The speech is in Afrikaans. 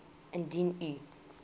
indien u